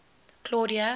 claudia